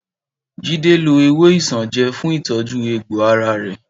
Jídé lo ewé isanaje fún ìtọ́jú egbò ara rẹ̀